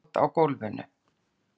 Og hrúgald á gólfinu.